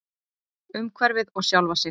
Umhverfið og sjálfa sig.